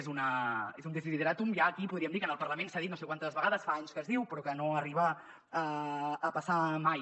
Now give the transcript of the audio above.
és un desideràtum ja aquí podríem dir que en el parlament s’ha dit no sé quantes vegades fa anys que es diu però que no arriba a passar mai